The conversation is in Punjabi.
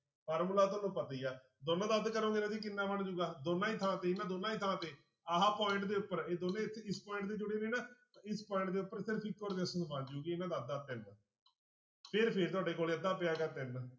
ਫਾਰਮੁਲਾ ਤੁਹਾਨੂੰ ਪਤਾ ਹੀ ਆ ਦੋਨੋ ਦਾ ਅੱਧ ਕਰੋਂਗੇ ਰਾਜੇ ਕਿੰਨਾ ਬਣ ਜਾਊੂਗਾ ਦੋਨਾਂ ਦੀ ਥਾਂ ਤੇ ਇਹਨਾਂ ਦੋਨਾਂ ਦੀ ਥਾਂ ਤੇ ਆਹ point ਦੇ ਉੱਪਰ ਇਹ ਦੋਨੇਂ ਇੱਥੇ ਇਸ point ਤੇ ਜੁੜੇ ਨੇ ਨਾ ਇਸ point ਦੇ ਉੱਪਰ ਸਿਰਫ਼ ਇੱਕੋ resistance ਬਚ ਜਾਊਗੀ ਫਿਰ ਫਿਰ ਤੁਹਾਡੇ ਕੋਲੇ ਅੱਧਾ ਪਿਆ ਗਾ ਤਿੰਨ।